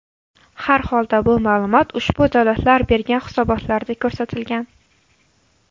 Harholda bu ma’lumot ushbu davlatlar bergan hisobotlarda ko‘rsatilgan.